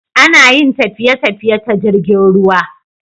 Ana Yin tafiye tafiye ta jirgin ruwa